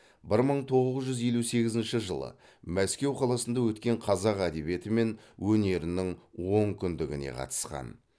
бір мың тоғыз жүз елу сегізінші жылы мәскеу қаласында өткен қазақ әдебиеті мен өнерінің онкүндігіне қатысқан